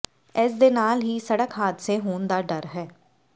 ਇਸ ਦੇ ਨਾਲ ਹੀ ਸੜਕ ਹਾਦਸੇ ਹੋਣ ਦਾ ਡਰ ਹ